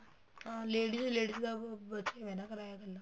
ਹਾਂ ladies ladies ਦਾ ਬਚਿਆ ਹੋਇਆ ਹੈ ਕਿਰਾਇਆ ਇੱਕਲਾ